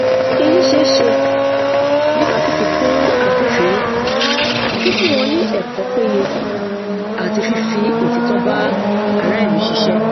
èyí ṣeeṣe nípa fífikun agbófinró fífun wọn ní ẹkọ péye àti fífi òtítọ bá ará ìlú ṣiṣẹ